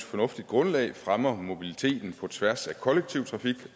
fornuftigt grundlag fremmer mobiliteten på tværs af kollektiv trafik